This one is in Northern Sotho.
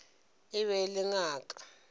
e be e le ngaka